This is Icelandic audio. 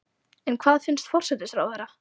En hvað finnst forsætisráðherra?